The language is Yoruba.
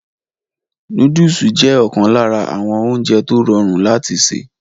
Nóódùsì jẹ́ ọ̀kan lára àwọn oúnjẹ tó rọrùn láti sè